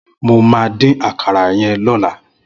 Mó mà din àkàrà yèn lọ̀là